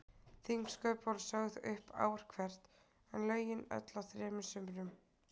Þingsköp voru sögð upp ár hvert, en lögin öll á þremur sumrum.